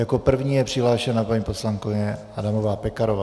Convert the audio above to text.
Jako první je přihlášena paní poslankyně Adamová Pekarová.